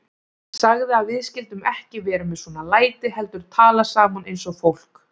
Sagði að við skyldum ekki vera með svona læti heldur tala saman eins og fólk.